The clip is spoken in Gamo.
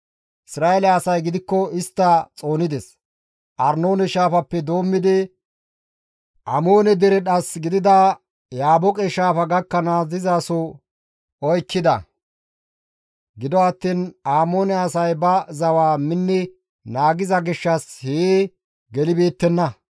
Isra7eele asay gidikko istta xoonides; Arnoone shaafappe doommidi Amoone dere dhas gidida Yaabooqe shaafa gakkanaas dizasoza oykkida; gido attiin Amoone asay ba zawa minni naagiza gishshas hee gelibeettenna.